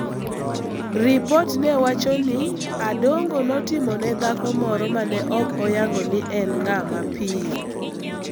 Ripot ne wacho ni Adongo notimo ne dhako moro ma ne ok oyango ni en ng�a mapiyo.